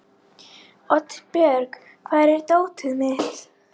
Oddbjörg, hvar er dótið mitt?